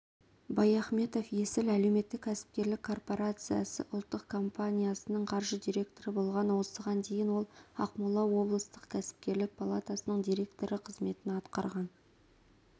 баяхметов есіл әлеуметтік-кәсіпкерлік корпорациясы ұлттық компаниясының қаржы директоры болған осыған дейін ол ақмола облыстық кәсіпкерлер палатасының директоры қызметін атқарған